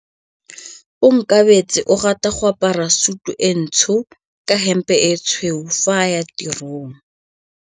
Onkabetse o rata go apara sutu e ntsho ka hempe e tshweu fa a ya tirong.